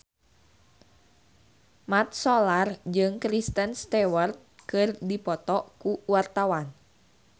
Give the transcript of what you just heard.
Mat Solar jeung Kristen Stewart keur dipoto ku wartawan